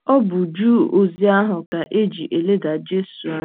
Ọ bụ ju ozi ahụ ka e ji e leda Jesu anya.